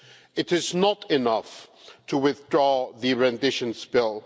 It is not enough to withdraw the rendition bill.